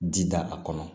Ji da a kɔnɔ